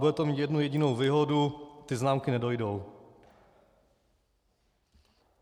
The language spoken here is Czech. Bude to mít jednu jedinou výhodu: ty známky nedojdou.